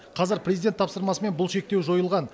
қазір президент тапсырмасымен бұл шектеу жойылған